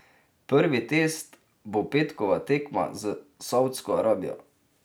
Prvi test bo petkova tekma s Saudsko Arabijo.